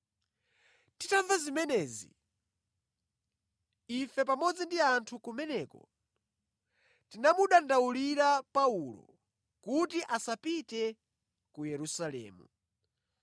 Titamva zimenezi, ife pamodzi ndi anthu kumeneko tinamudandaulira Paulo kuti asapite ku Yerusalemu.